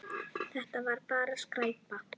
Þetta var bara skræpa.